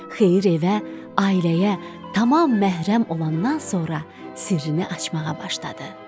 Xeyir evə, ailəyə tamam məhrəm olandan sonra sirrini açmağa başladı.